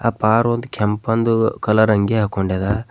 ಅಪಾರ ಒಂದ್ ಕೆಂಪಂದು ಕಲರ್ ಅಂಗಿ ಹಾಕೊಂಡೆದ.